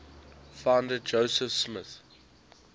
founder joseph smith